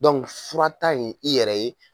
furata in i yɛrɛ ye